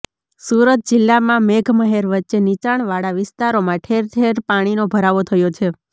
સુરત જિલ્લામાં મેઘમહેર વચ્ચે નીચાણવાળા વિસ્તારોમાં ઠેર ઠેર પાણીનો ભરાવો થયો છે